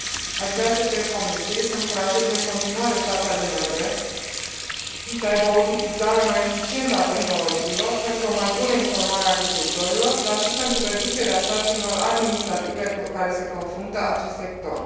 Aș vrea să cer Comisiei să încurajeze în continuare statele membre să aibă o utilizare mai eficientă a tehnologiilor pentru o mai bună informare a agricultorilor, dar și pentru reducerea sarcinilor administrative cu care se confruntă acest sector.